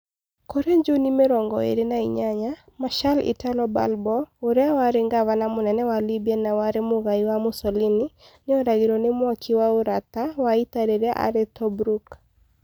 Kũrĩ Juni mĩrongo ĩĩrĩ na inyanya [28], Marshal Italo Balbo, ũrĩa warĩ Gavana-Mũnene wa Libya na warĩ mũgai wa Mussolini, nĩ oragirũo nĩ mwaki wa ũrata wa ita rĩrĩa arĩ Tobruk.